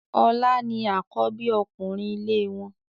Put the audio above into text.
Ọlá ni àkọ́bí ọkùnrin ilé wọn.